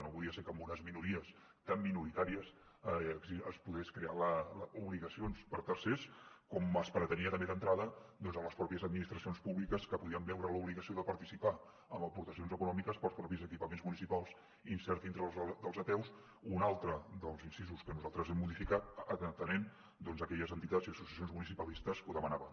no podia ser que amb unes minories tan minoritàries es poguessin crear obligacions per a tercers com es pretenia també d’entrada amb les mateixes administracions públiques que podien veure l’obligació de participar amb aportacions econòmiques per als mateixos equipaments municipals inserits dintre de les apeus un altre dels incisos que nosaltres hem modificat atenent doncs aquelles entitats i associacions municipalistes que ho demanaven